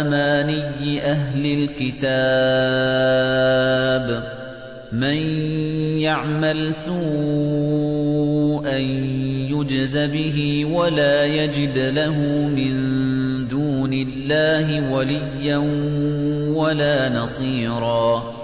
أَمَانِيِّ أَهْلِ الْكِتَابِ ۗ مَن يَعْمَلْ سُوءًا يُجْزَ بِهِ وَلَا يَجِدْ لَهُ مِن دُونِ اللَّهِ وَلِيًّا وَلَا نَصِيرًا